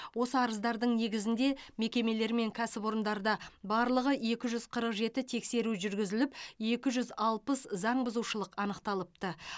осы арыздардың негізінде мекемелер мен кәсіпорындарда барлығы екі жүз қырық жеті тексеру жүргізіліп екі жүз алпыс заңбұзушылық анықталыпты